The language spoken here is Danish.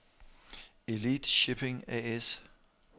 Elite Shipping A/S